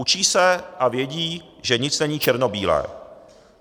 Učí se a vědí, že nic není černobílé.